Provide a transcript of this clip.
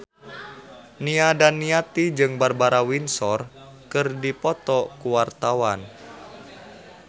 Nia Daniati jeung Barbara Windsor keur dipoto ku wartawan